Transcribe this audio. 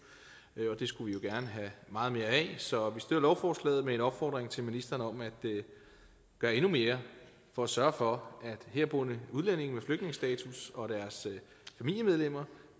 og det skulle vi jo gerne have meget mere af så vi støtter lovforslaget med en opfordring til ministeren om at gøre endnu mere for at sørge for at herboende udlændinge med flygtningestatus og deres familiemedlemmer